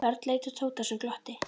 Örn leit á Tóta sem glotti.